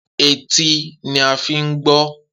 Etí ni a fi ń gbọ́